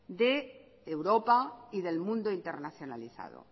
de europa y del mundo internacionalizado